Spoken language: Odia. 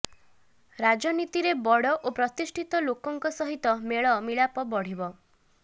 ରାଜନୀତିରେ ବଡ଼ ଓ ପ୍ରତିଷ୍ଠିତ ଲୋକଙ୍କ ସହିତ ମେଳ ମିଳାପ ବଢ଼ିବ